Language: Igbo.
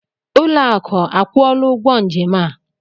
Ụlọakụ akwụọla ụgwọ njem a?